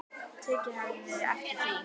Tekið hefði verið eftir því.